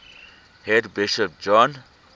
head bishop john